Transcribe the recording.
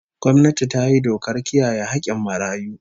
Gwamnati ta yi dokar kiyaye hakkin marayu